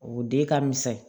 O den ka misɛn